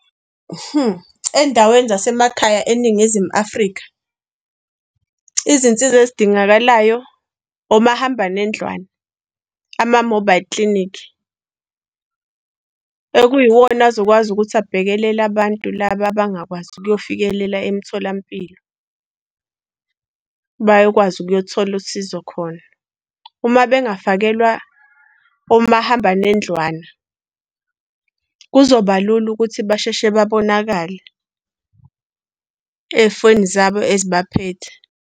Ey'ndaweni zasemakhaya eNingizimu Afrika, izinsiza ezidingakalayo omahamba nendlwane, ama-mobile clinic. Okuyiwona azokwazi ukuthi abhekelele abantu laba abangakwazi ukuyofikelela emtholampilo, bayokwazi ukuyothola usizo khona. Uma bengafakelwa omahamba nendlwana kuzoba lula ukuthi basheshe babonakale ey'foni zabo .